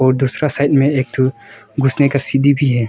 और दूसरा साइड में एक घुसने का सीढ़ी भी है।